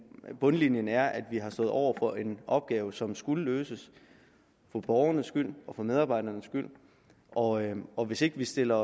bundlinjen er at vi har stået over for en opgave som skulle løses for borgernes og for medarbejdernes skyld og og hvis ikke vi stiller